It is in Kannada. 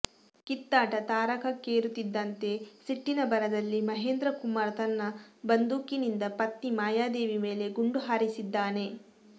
ಕಿತ್ತಾಟ ತಾರಕಕ್ಕೇರುತ್ತಿದ್ದಂತೆ ಸಿಟ್ಟಿನ ಭರದಲ್ಲಿ ಮಹೇಂದ್ರ ಕುಮಾರ್ ತನ್ನ ಬಂದೂಕಿನಿಂದ ಪತ್ನಿ ಮಾಯಾದೇವಿ ಮೇಲೆ ಗುಂಡು ಹಾರಿಸಿದ್ದಾನೆ